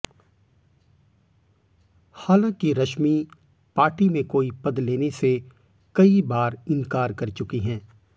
हालांकि रश्मि पार्टी में कोई पद लेने से कई बार इनकार कर चुकी हैं